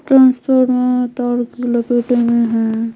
Transfer में तार भी लपेटे हुए है।